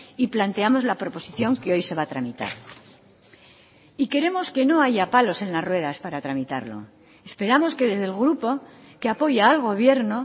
y planteamos la proposición que hoy se va a tramitar y queremos que no haya palos en las ruedas para tramitarlo esperamos que desde el grupo que apoya al gobierno